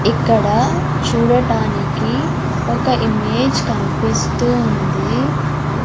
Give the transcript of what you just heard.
ఇక్కడ చూడటానికి ఒక ఇమేజ్ కన్పిస్తుంది.